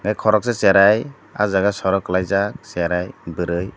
koroksa charai aw jaaga soro kalaijak cherai bwri.